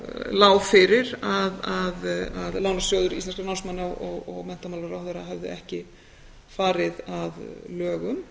lá fyrir að lánasjóður íslenskra námsmanna og menntamálaráðherra höfðu ekki farið að lögum